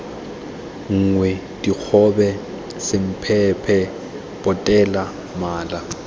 nngwe dikgobe semphemphe potele mala